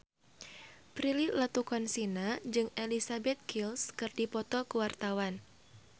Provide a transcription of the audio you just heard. Prilly Latuconsina jeung Elizabeth Gillies keur dipoto ku wartawan